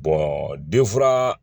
denfura